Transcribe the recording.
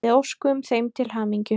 Við óskuðum þeim til hamingju.